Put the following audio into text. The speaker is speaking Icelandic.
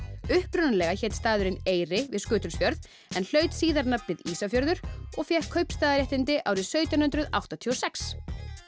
upprunalega hét staðurinn Eyri við Skutulsfjörð en hlaut síðar nafnið Ísafjörður og fékk kaupstaðarréttindi árið sautján hundruð áttatíu og sex